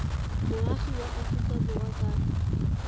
moagi wa aforika borwa ka